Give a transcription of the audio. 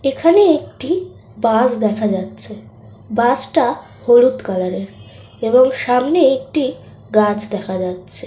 এখানে একটি বাস দেখা যাচ্ছে। বাস টা হলুদ কালার এর । এবং সামনে একটি গাছ দেখা যাচ্ছে।